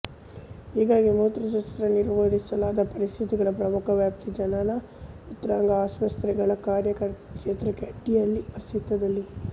ಹೀಗಾಗಿ ಮೂತ್ರಶಾಸ್ತ್ರದಲ್ಲಿ ನಿರ್ವಹಿಸಲಾದ ಪರಿಸ್ಥಿತಿಗಳ ಪ್ರಮುಖ ವ್ಯಾಪ್ತಿ ಜನನಮೂತ್ರಾಂಗ ಅಸ್ವಸ್ಥತೆಗಳ ಕಾರ್ಯಕ್ಷೇತ್ರದ ಅಡಿಯಲ್ಲಿ ಅಸ್ತಿತ್ವದಲ್ಲಿದೆ